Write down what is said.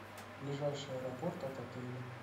ближайший аэропорт от отеля